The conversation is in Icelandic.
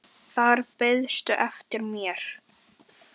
Þar beiðstu eftir mér.